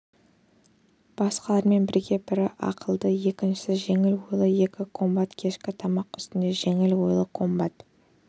басқалармен бірге бірі ақылды екіншісі жеңіл ойлы екі комбат кешкі тамақ үстінде жеңіл ойлы комбат